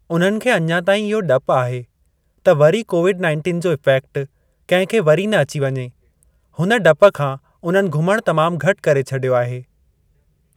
उन्हनि खे अञां ताईं इहो ॾप आहे त वरी कोविड नाइंटीन जो इफ़ेक्ट कंहिं खे वरी न अची वञे हुन ॾप खा उन्हनि घुमण तमामु घटि करे छॾियो आहे।